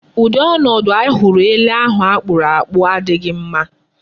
Ụdị ọnọdụ anyị hụrụ ele ahụ akpụrụ akpụ adịghị mma.